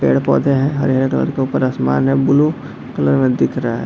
पेड़-पौधे हैं हरे-हरे और के ऊपर आसमान है ब्लू कलर में दिख रहा है।